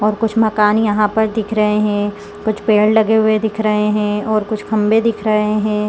और कुछ मकाने यहाँ पर दिख रहे है कुछ पेड़ लगे हुए दिख रहे है और कुछ खम्भे दिख रहे है।